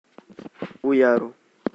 уяру